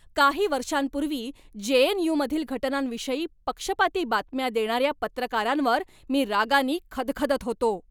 काही वर्षांपूर्वी J. N. U. मधील घटनांविषयी पक्षपाती बातम्या देणाऱ्या पत्रकारांवर मी रागानी खदखदत होतो.